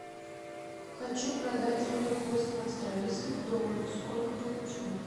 хочу продать сорок восемь австралийских долларов сколько получу